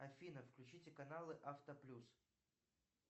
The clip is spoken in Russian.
афина включите каналы авто плюс